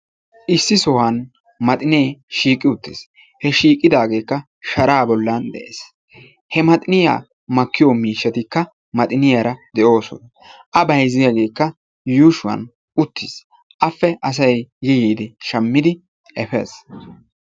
Issi sohuwan maxinee shiiqi uttiis. he shiiqidaageekka shara bollan de'ees. he maxiniyaa makkiyo miishshatikka maxiniyaara de'oosona. a bayzziyaageekka yuushuwan uttiis. appe asay yi yiidi shammidi efees.